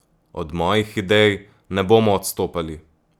Od mojih idej ne bomo odstopali.